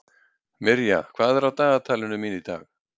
Mirja, hvað er á dagatalinu mínu í dag?